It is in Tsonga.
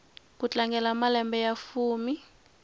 ku tlangela malembe ya fumi